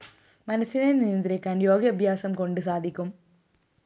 മനസിനെ നിയന്ത്രിക്കാന്‍ യോഗാഭ്യാസംകൊണ്ട് സാധിക്കും